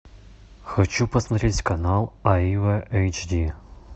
хочу посмотреть канал аива эйч ди